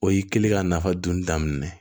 O y'i kɛlen ka nafa dun daminɛ ye